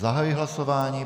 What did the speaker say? Zahajuji hlasování.